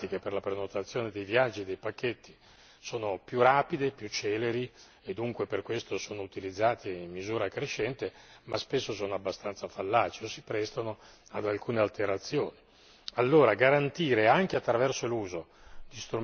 Sappiamo che oggi le procedure, a cominciare da quelle informatiche per la prenotazione dei viaggi e dei pacchetti, sono più rapide, più celeri e dunque per questo sono utilizzate in misura crescente, ma spesso sono abbastanza fallaci o si prestano ad alcune alterazioni.